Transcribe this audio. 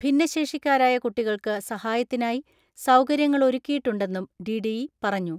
ഭിന്നശേഷിക്കാരായ കുട്ടികൾക്ക് സഹാ യത്തിനായി സൗകര്യങ്ങളൊരുക്കിയിട്ടുണ്ടെന്നും ഡി ഡി ഇ പറഞ്ഞു.